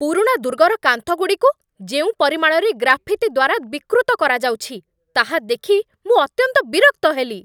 ପୁରୁଣା ଦୁର୍ଗର କାନ୍ଥଗୁଡ଼ିକୁ ଯେଉଁ ପରିମାଣରେ ଗ୍ରାଫିତି ଦ୍ୱାରା ବିକୃତ କରାଯାଉଛି, ତାହା ଦେଖି ମୁଁ ଅତ୍ୟନ୍ତ ବିରକ୍ତ ହେଲି।